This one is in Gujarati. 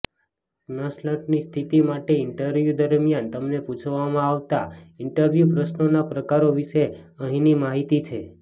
કન્સલ્ટન્ટની સ્થિતિ માટે ઇન્ટરવ્યૂ દરમિયાન તમને પૂછવામાં આવતા ઇન્ટરવ્યૂ પ્રશ્નોના પ્રકારો વિશે અહીંની માહિતી છે